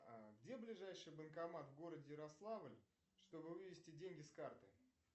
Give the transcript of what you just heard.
где ближайший банкомат в городе ярославль чтобы вывести деньги с карты